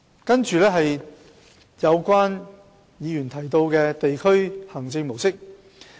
接着，我會談及有議員提到的地區行政模式。